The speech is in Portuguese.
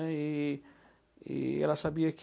E e ela sabia que